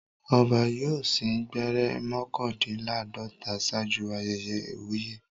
Ọba yóò sín gbẹ́rẹ́ mọ́kàndínláàdọ́ta ṣáájú ayẹyẹ ìwúyè.